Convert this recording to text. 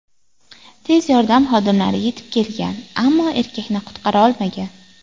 Tez yordam xodimlari yetib kelgan, ammo erkakni qutqara olmagan.